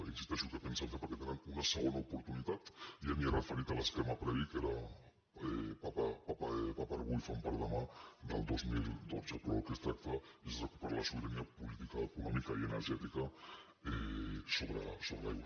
hi insisteixo què pensen fer perquè tenen una segona oportunitat i ja m’hi he referit a l’esquema previ que era pa per a avui i fam per a demà del dos mil dotze però del que es tracta és de recuperar la sobirania política econòmica i energètica sobre l’aigua